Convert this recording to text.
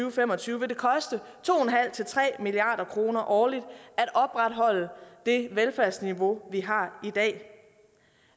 og fem og tyve vil det koste to tre milliard kroner årligt at opretholde det velfærdsniveau vi har i dag